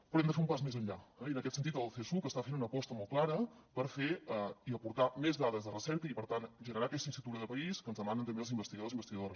però hem de fer un pas més enllà eh i en aquest sentit el csuc està fent una aposta molt clara per fer i aportar més dades de recerca i per tant generar aquesta infrastructura de país que ens demanen també els investigadors i investigadores